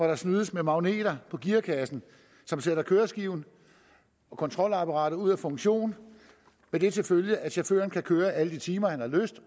der snydes med magneter på gearkassen som sætter køreskiven og kontrolapparatet ud af funktion med det til følge at chaufføren kan køre alle de timer han har lyst